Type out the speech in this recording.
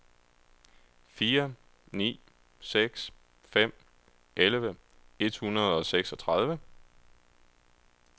fire ni seks fem elleve et hundrede og seksogtredive